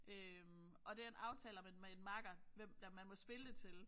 Øh og den aftaler man med en makker hvem der man må spille det til